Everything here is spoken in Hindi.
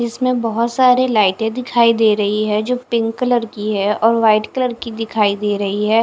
इसमें बोहोत सारे लाइटे दिखाई दे रही है जो पिंक कलर की है और वाइट कलर की दिखाई दे रही है।